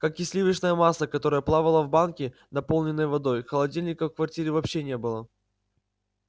как и сливочное масло которое плавало в банке наполненной водой холодильника в квартире вообще не было